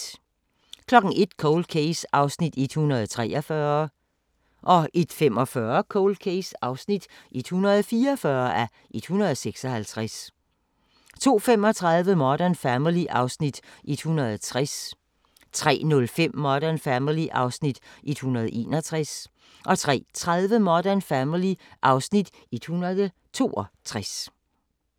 01:00: Cold Case (143:156) 01:45: Cold Case (144:156) 02:35: Modern Family (Afs. 160) 03:05: Modern Family (Afs. 161) 03:30: Modern Family (Afs. 162)